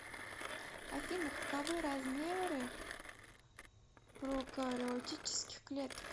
афина каковы размеры прокариотических клеток